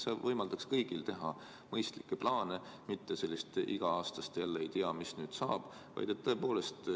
See võimaldaks kõigil teha mõistlikke plaane, mitte igal aastal jälle mõelda, et ei tea, mis nüüd saab.